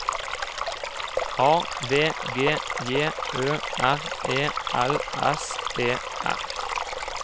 A V G J Ø R E L S E R